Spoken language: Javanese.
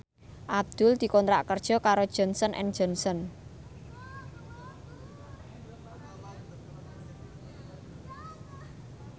Abdul dikontrak kerja karo Johnson and Johnson